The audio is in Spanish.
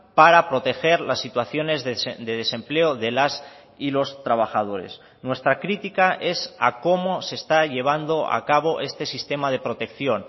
para proteger las situaciones de desempleo de las y los trabajadores nuestra crítica es a cómo se está llevando a cabo este sistema de protección